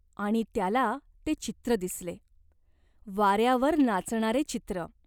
आणि त्याला ते चित्र दिसले ! वाऱ्यावर नाचणारे चित्र.